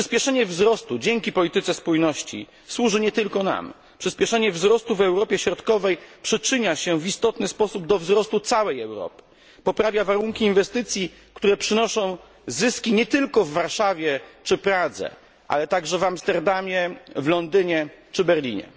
Przyspieszenie wzrostu dzięki polityce spójności służy nie tylko nam. Przyspieszenie wzrostu w Europie Środkowej przyczynia się w istotny sposób do wzrostu całej Europy, poprawia warunki inwestycji, które przynoszą zyski nie tylko w Warszawie czy w Pradze, ale także w Amsterdamie, Londynie czy Berlinie.